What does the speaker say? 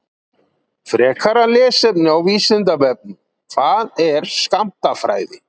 Frekara lesefni á Vísindavefnum: Hvað er skammtafræði?